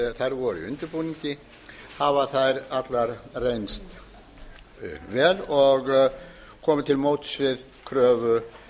voru í undirbúningi hafa þær allar reynst vel og komið til móts við kröfu